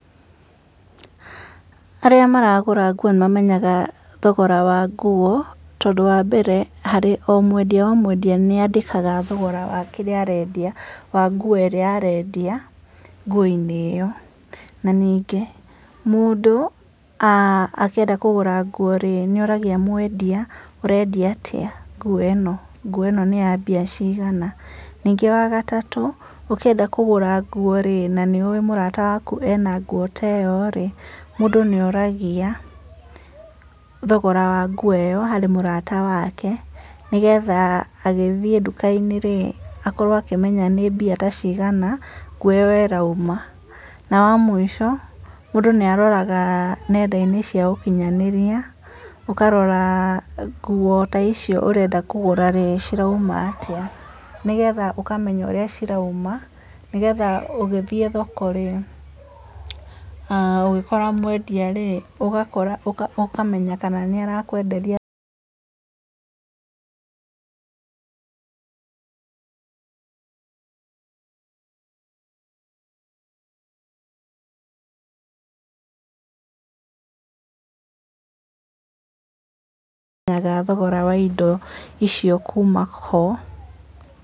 Arĩa maragũra nguo nĩ mamenyaga thogora wa nguo tondũ wa mbere harĩ o mwendia o mwendia nĩ andĩkaga thogora wa kĩrĩa arendia wa nguo ĩrĩa arendia nguo-inĩ ĩyo, na ningĩ mũndũ akĩenda kũgũra nguo nĩ oragia mwendia ũrendia atĩa nguo ĩno? Nguo ĩno nĩ mbia cigana? Ningĩ wagatatũ ũkĩenda kũgũra nguo rĩ na nĩ ũĩ mũrata waku ena nguo ta ĩyo rĩ mũndũ nĩ oragia thogora wa nguo ĩyo harĩ mũrata wake nĩgetha agĩthiĩ duka-inĩ rĩ akorwo akĩmenya nĩ nguo ta cigana nguo ĩyo ĩrauma, na wa mũico mũndũ nĩ aroraga nenda-inĩ cia ũkinyanĩria ũkarora nguo ta icio ũrenda kũgũra rĩ cirauma atĩa, nĩgetha ũkamenya ũrĩa cirauma nĩgetha ũgĩthiĩ thoko rĩ, ũgĩkora mwendia rĩ ũkamenya kana nĩ arakwenderia thogora wa indo icio kuma ho.